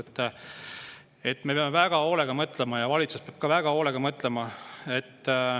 Me peame selle üle väga hoolega mõtlema, ka valitsus peab väga hoolega mõtlema.